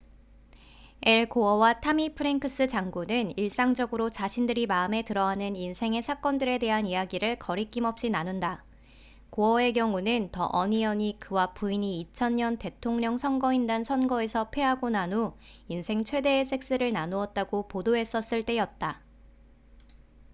앨 고어와 타미 프랭크스 장군은 일상적으로 자신들이 마음에 들어하는 인생의 사건들에 대한 이야기를 거리낌없이 나눈다 고어의 경우는 the onion이 그와 부인이 2000년 대통령 선거인단 선거에서 패하고 난 후 인생 최대의 섹스를 나누었다고 보도했었을 때였다